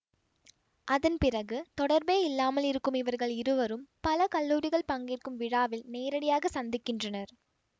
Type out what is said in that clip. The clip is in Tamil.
அதன்பிறகு தொடர்பே இல்லாமல் இருக்கும் இவர்கள் இருவரும் பல கல்லூரிகள் பங்கேற்கும் விழாவில் நேரிடையாக சந்திக்கின்றனர்